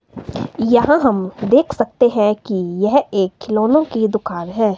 यहां हम देख सकते हैं कि यह एक खिलौनो की दुकान है।